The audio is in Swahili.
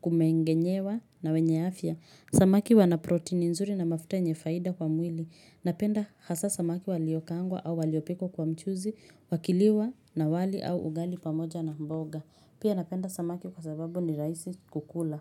kumengenyewa na wenye afya. Samaki wana protein nzuri na mafuta yenye faida kwa mwili. Napenda hasa samaki waliokaangwa au waliopikwa kwa mchuzi, wakiliwa na wali au ugali pamoja na mboga. Pia napenda samaki kwa sababu ni rahisi kukula.